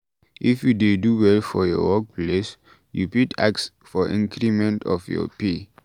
If you dey do well for your work place, you fit ask for increment of your pay